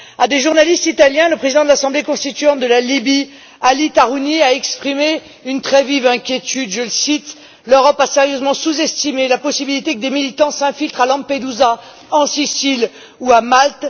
À des journalistes italiens, le président de l'Assemblée constituante de la Libye, Ali Tarhouni, a exprimé une très vive inquiétude, je le cite L'Europe a sérieusement sous estimé la possibilité que des militants s'infiltrent à Lampedusa, en Sicile ou à Malte.